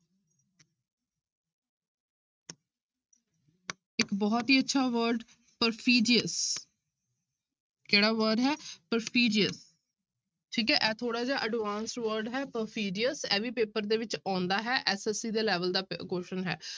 ਇੱਕ ਬਹੁਤ ਹੀ ਅੱਛਾ word perfidious ਕਿਹੜਾ word ਹੈ perfidious ਠੀਕ ਹੈ ਇਹ ਥੋੜ੍ਹਾ ਜਿਹੜਾ advance word ਹੈ perfidious ਇਹ ਵੀ ਪੇਪਰ ਦੇ ਵਿੱਚ ਆਉਂਦਾ ਹੈ SSC ਦੇ level ਦਾ ਪ~ question ਹੈ।